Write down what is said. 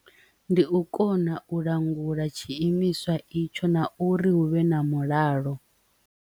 Ndi u kona u langula tshiimiswa itsho na uri hu vhe na mulalo.